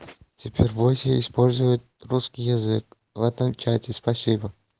теперь бойся использовать русский язык в этом чате спасибо